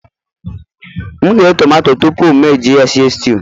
M ghee tomato tupu m eji ya stew